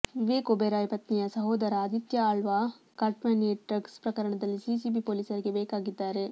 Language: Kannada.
ವಿವೇಕ್ ಒಬೆರಾಯ್ ಪತ್ನಿಯ ಸಹೋದರ ಆದಿತ್ಯ ಆಳ್ವಾ ಕಾಟನ್ಪೇಟೆ ಡ್ರಗ್ಸ್ ಪ್ರಕರಣದಲ್ಲಿ ಸಿಸಿಬಿ ಪೊಲೀಸರಿಗೆ ಬೇಕಾಗಿದ್ದಾರೆ